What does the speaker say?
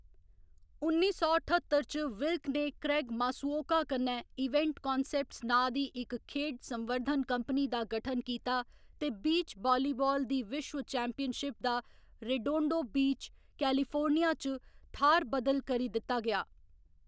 उन्नी सौ ठत्तर च, विल्क ने क्रेग मासुओका कन्नै इवेंट कान्सेप्ट्स नांऽ दी इक खेढ संवर्धन कंपनी दा गठन कीता ते बीच वालीबाल दी विश्व चैम्पियनशिप दा रेडोंडो बीच, कैलिफोर्निया च थाह्‌र बदल करी दित्ता गेआ।